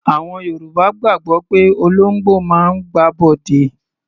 Àwọn Yorùbá gbàgbọ́ pé olóńgbò máa ń gbàbọ̀dè.